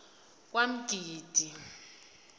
kwamgidi